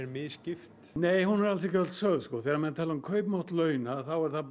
misskipt nei hún er ekki öll sögð þegar menn tala um kaupmátt launa er það